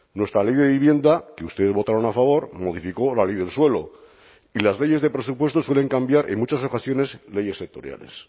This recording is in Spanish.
nuestra ley de vivienda que ustedes votaron a favor modificó la ley del suelo y las leyes de presupuestos suelen cambiar en muchas ocasiones leyes sectoriales